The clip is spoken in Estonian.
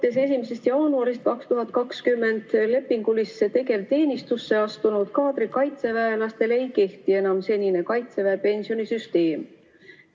Alates 1. jaanuarist 2020 lepingulisse tegevteenistusse astunud kaadrikaitseväelastele ei kehti enam senine Kaitseväe pensionisüsteem.